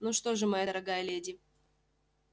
ну что же моя дорогая леди